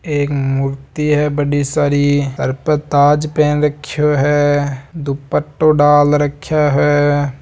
एक मूर्ति है बड़ी सारी सर पर ताज पहन राख्यो है दुपट्टों डाल राख्यो है।